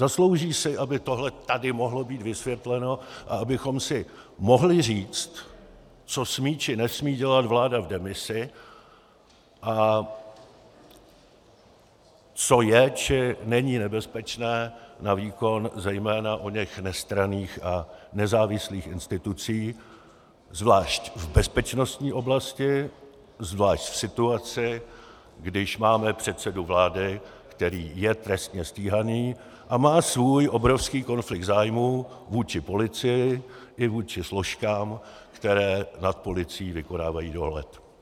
Zaslouží si, aby tohle tady mohlo být vysvětleno a abychom si mohli říct, co smí či nesmí dělat vláda v demisi a co je či není nebezpečné na výkon zejména oněch nestranných a nezávislých institucí, zvlášť v bezpečnostní oblasti, zvlášť v situaci, když máme předsedu vlády, který je trestně stíhaný a má svůj obrovský konflikt zájmů vůči policii i vůči složkám, které nad policií vykonávají dohled.